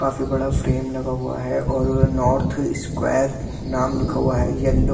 काफी बड़ा फ्रेम लगा हुआ है और वे नॉर्थ स्क्वायर नाम लिखा हुआ है येल्लो --